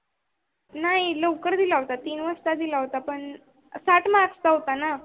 नाही लवकर दिला होता. तीन वाजता दिला होता. पण साठ mark चा होता ना,